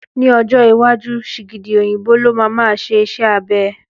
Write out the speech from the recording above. Ní ọjọ́ iwájú, sìgìdì òyìnbó ló máa ma ṣe iṣẹ́ abẹ